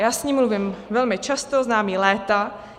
Já s ní mluvím velmi často, znám ji léta.